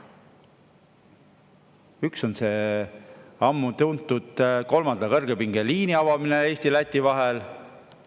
Üks on see ammu tuntud kolmanda kõrgepingeliini avamine Eesti ja Läti vahel.